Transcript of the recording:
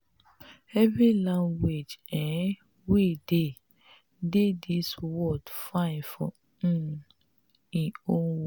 every language um wey dey dey dis world fine for um em own way.